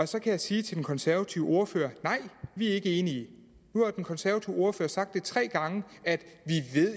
så kan jeg sige til den konservative ordfører nej vi er ikke enige nu har den konservative ordfører sagt tre gange at vi